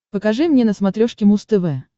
покажи мне на смотрешке муз тв